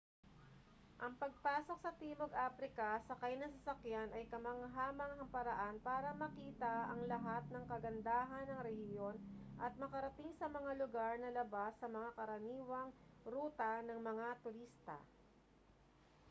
ang pagpasok sa timog aprika sakay ng sasakyan ay kamangha-manghang paraan para makita ang lahat ng kagandahan ng rehiyon at makarating sa mga lugar na labas sa mga karaniwang ruta ng mga turista